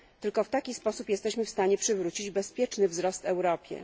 Tylko w taki sposób jesteśmy w stanie przywrócić bezpieczny wzrost Europie.